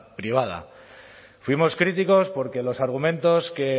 privada fuimos críticos porque los argumentos que